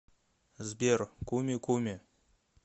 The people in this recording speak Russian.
сбер куми куми